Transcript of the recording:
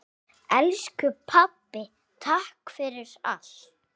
Elsku pabbi, takk fyrir allt.